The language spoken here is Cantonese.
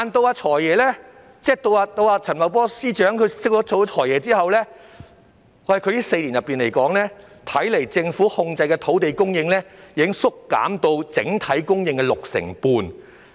然而，他在升任財政司司長後的4年間，政府控制的土地供應，已縮減至只佔整體供應的六成半。